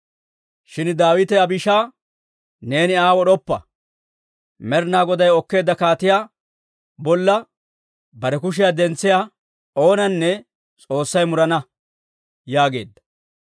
Shin Daawite Abishaaya, «Neeni Aa wod'oppa; Med'inaa Goday okkeedda kaatiyaa bolla bare kushiyaa dentsiyaa oonanne S'oossay murana» yaageedda.